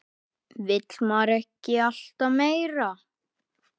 Vill maður ekki alltaf meira?